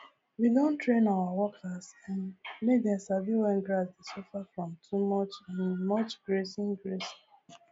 we don train our workers um make dem sabi when grass dey suffer from too um much grazing grazing